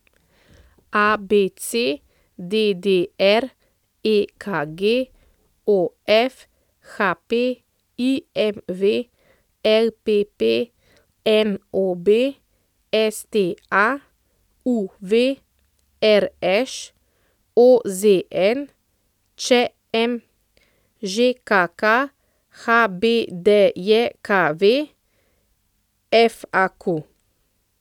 ABC, DDR, EKG, OF, HP, IMV, LPP, NOB, STA, UV, RŠ, OZN, ČM, ŽKK, HBDJKV, FAQ.